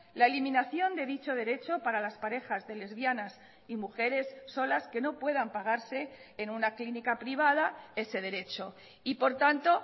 la eliminación de dicho derecho para las parejas de lesbianas y mujeres solas que no puedan pagarse en una clínica privada ese derecho y por tanto